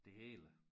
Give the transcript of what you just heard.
Det hele